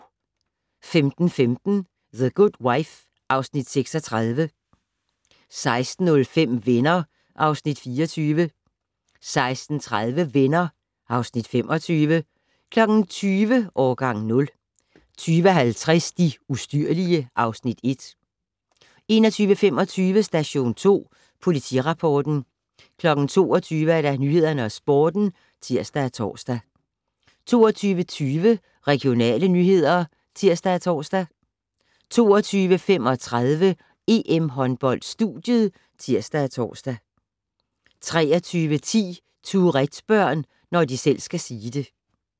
15:15: The Good Wife (Afs. 36) 16:05: Venner (Afs. 24) 16:30: Venner (Afs. 25) 20:00: Årgang 0 20:50: De ustyrlige (Afs. 1) 21:25: Station 2 Politirapporten 22:00: Nyhederne og Sporten (tir og tor) 22:20: Regionale nyheder (tir og tor) 22:35: EM-håndbold: Studiet (tir og tor) 23:10: Tourette-børn - når de selv skal sige det